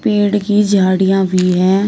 पेड़ की झाड़ियां भी हैं।